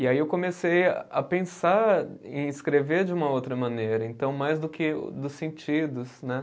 E aí eu comecei a pensar em escrever de uma outra maneira, então mais do que dos sentidos, né?